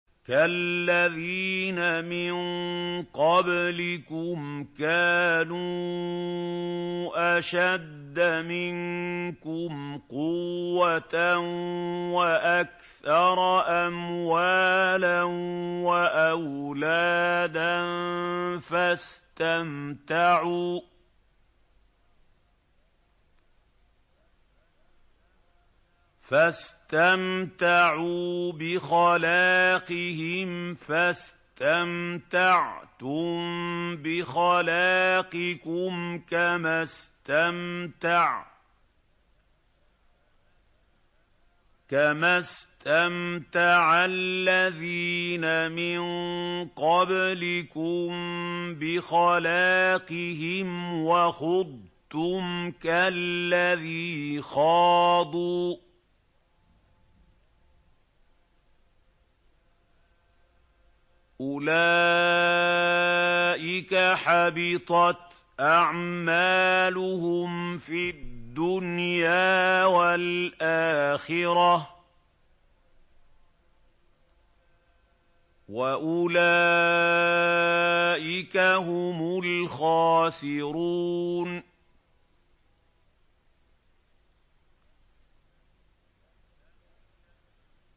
كَالَّذِينَ مِن قَبْلِكُمْ كَانُوا أَشَدَّ مِنكُمْ قُوَّةً وَأَكْثَرَ أَمْوَالًا وَأَوْلَادًا فَاسْتَمْتَعُوا بِخَلَاقِهِمْ فَاسْتَمْتَعْتُم بِخَلَاقِكُمْ كَمَا اسْتَمْتَعَ الَّذِينَ مِن قَبْلِكُم بِخَلَاقِهِمْ وَخُضْتُمْ كَالَّذِي خَاضُوا ۚ أُولَٰئِكَ حَبِطَتْ أَعْمَالُهُمْ فِي الدُّنْيَا وَالْآخِرَةِ ۖ وَأُولَٰئِكَ هُمُ الْخَاسِرُونَ